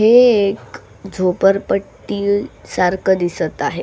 हे एक झोपडपट्टी सारख दिसत आहे.